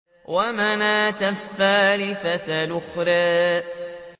وَمَنَاةَ الثَّالِثَةَ الْأُخْرَىٰ